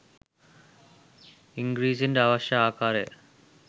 ඉංගිරිසින්ට අවශ්‍ය ආකාරය